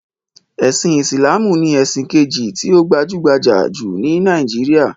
Ẹ̀sin Ìsìláàmù ni ẹ̀sìn kejì tí ó gbajúgbajà jù ní Nàíjíríà.